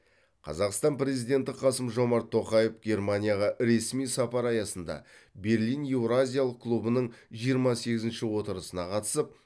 қазақстан президенті қасым жомарт тоқаев германияға ресми сапары аясында берлин еуразиялық клубының жиырма сегізінші отырысына қатысып